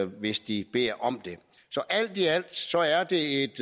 hvis de beder om det så alt i alt er det et